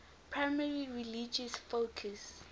primarily religious focus